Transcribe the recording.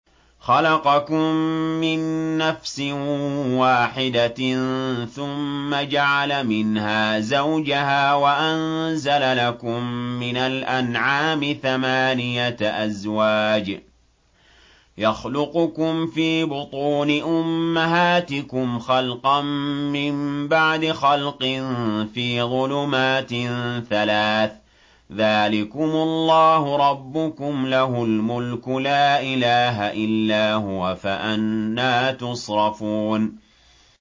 خَلَقَكُم مِّن نَّفْسٍ وَاحِدَةٍ ثُمَّ جَعَلَ مِنْهَا زَوْجَهَا وَأَنزَلَ لَكُم مِّنَ الْأَنْعَامِ ثَمَانِيَةَ أَزْوَاجٍ ۚ يَخْلُقُكُمْ فِي بُطُونِ أُمَّهَاتِكُمْ خَلْقًا مِّن بَعْدِ خَلْقٍ فِي ظُلُمَاتٍ ثَلَاثٍ ۚ ذَٰلِكُمُ اللَّهُ رَبُّكُمْ لَهُ الْمُلْكُ ۖ لَا إِلَٰهَ إِلَّا هُوَ ۖ فَأَنَّىٰ تُصْرَفُونَ